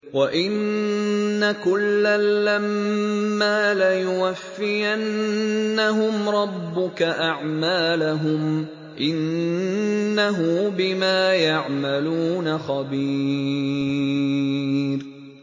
وَإِنَّ كُلًّا لَّمَّا لَيُوَفِّيَنَّهُمْ رَبُّكَ أَعْمَالَهُمْ ۚ إِنَّهُ بِمَا يَعْمَلُونَ خَبِيرٌ